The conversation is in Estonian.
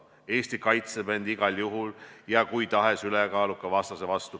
Eesti kaitseb end igal juhul ja kui tahes ülekaaluka vastase vastu.